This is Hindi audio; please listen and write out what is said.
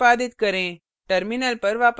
program को निष्पादित करें